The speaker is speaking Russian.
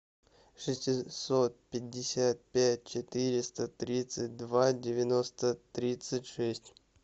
шестьсот пятьдесят пять четыреста тридцать два девяносто тридцать шесть